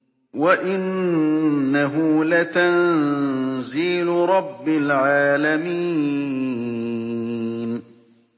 وَإِنَّهُ لَتَنزِيلُ رَبِّ الْعَالَمِينَ